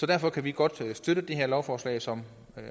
derfor kan vi godt støtte det her lovforslag som